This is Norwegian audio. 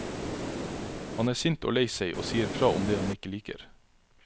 Han er sint og lei seg og sier fra om det han ikke liker.